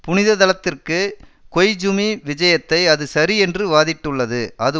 புனித தளத்திற்கு கொய்ஜூமி விஜயத்தை அது சரி என்று வாதிட்டுள்ளது அது